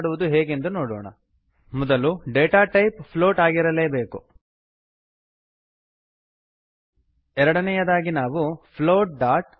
ಹಾಗೆ ಮಾಡುವುದು ಹೇಗೆಂದು ನೋಡೋಣ ಮೊದಲು ಡೇಟಾ ಟೈಪ್ ಪ್ಲೋಟ್ ಆಗಿರಲೇಬೇಕು ಎರಡನೆಯದಾಗಿ ನಾವು ಫ್ಲೋಟ್